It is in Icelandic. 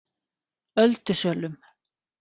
Öldusölum